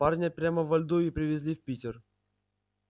парня прямо во льду и привезли в питер